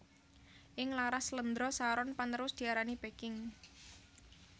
Ing laras slendro saron panerus diarani Peking